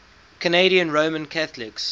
canadian roman catholics